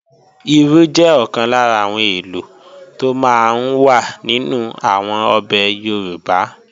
Irú jẹ́ ọ̀kan lára àwọn èlò tó máa ń wà nínú àwọn ọbẹ̀ Yorùbá